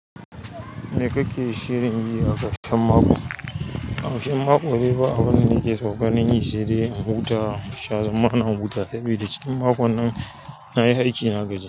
Me kake shirin yi a ƙarshen mako? A ƙarshen mako de babu abin da nake son ganin yi saidai in huta, in sha zamana, in huta saboda cikin makon nan nayi aiki na gaji.